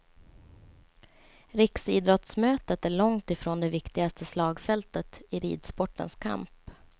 Riksidrottsmötet är långt ifrån det viktigaste slagfältet i ridsportens kamp.